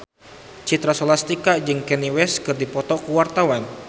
Citra Scholastika jeung Kanye West keur dipoto ku wartawan